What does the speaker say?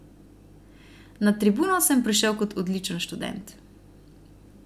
Na Tribuno sem prišel kot odličen študent.